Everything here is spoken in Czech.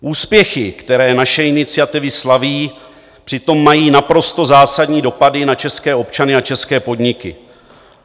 Úspěchy, které naše iniciativy slaví, přitom mají naprosto zásadní dopady na české občany a české podniky.